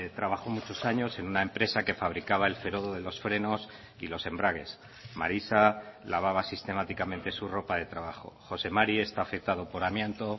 trabajó muchos años en una empresa que fabricaba el ferodo de los frenos y los embragues marisa lavaba sistemáticamente su ropa de trabajo jose mari está afectado por amianto